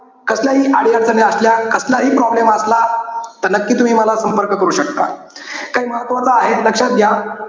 कसल्याही अडीअडचणी असल्या, कसलाही problem असला, तर नक्की तुम्ही मला संपर्क करू शकता. त हे महत्वाचं आहे लक्षात घ्या.